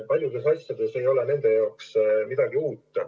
Paljudes ülesannetes ei ole nende jaoks midagi uut.